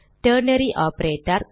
ternary operator